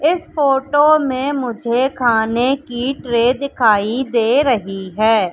इस फोटो में मुझे खाने की ट्रे दिखाई दे रही है।